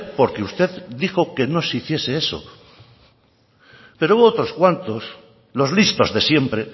porque usted dijo que no se hiciese eso pero hubo otros cuantos los listos de siempre